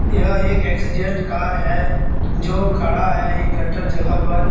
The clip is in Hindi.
यह एक एक्सीडेंट कार है जो खड़ा है एक गटर जगह पर।